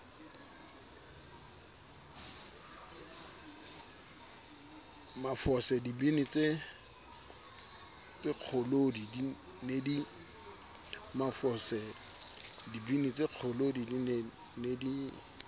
mafose dibini tsekgolodi ne di